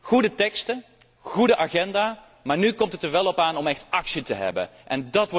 Goede teksten, een goede agenda, maar nu komt het er wel op aan om echt actie te ondernemen.